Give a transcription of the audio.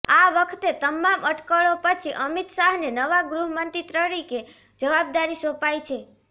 આ વખતે તમામ અટકળો પછી અમિત શાહને નવા ગૃહમંત્રી તરીકે જવાબદારી સોંપાઈ છે